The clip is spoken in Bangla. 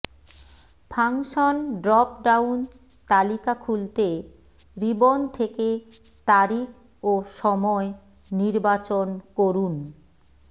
ফাংশন ড্রপ ডাউন তালিকা খুলতে রিবন থেকে তারিখ ও সময় নির্বাচন করুন